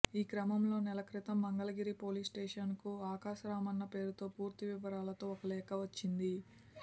ఈక్రమంలో నెల క్రితం మంగళగిరి పోలీస్ స్టేషన్కు ఆకాశరామన్న పేరుతో పూర్తి వివరాలతో ఓ లేఖ వచ్చింది